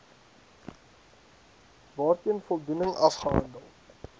waarteen voldoening afgehandel